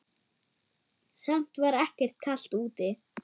Samt var ekkert kalt úti.